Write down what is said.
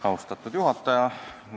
Austatud juhataja!